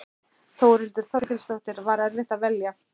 Þórhildur Þorkelsdóttir: Var erfitt að velja?